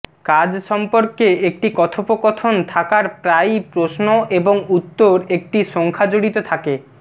কাজ সম্পর্কে একটি কথোপকথন থাকার প্রায়ই প্রশ্ন এবং উত্তর একটি সংখ্যা জড়িত থাকে